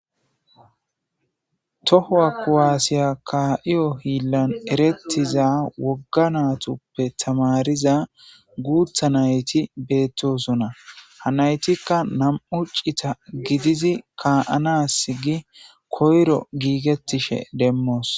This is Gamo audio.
tohowa kuwaasiya ka7iyo hiillan erettiza wogga natuppe tamariza guutha nayti beettosonna ha naytikka nam7u cita gidizi ka7anas gi koyro giigettishe demmoos